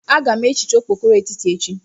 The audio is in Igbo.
Aga m ehicha okpokoro etiti echi.